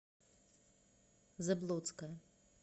заблоцкая